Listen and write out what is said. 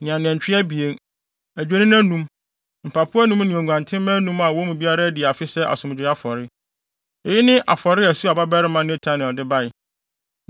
ne anantwi abien, adwennini anum, mpapo anum ne nguantenmma anum a wɔn mu biara adi afe sɛ asomdwoe afɔre. Eyi ne afɔre a Suar babarima Netanel de bae.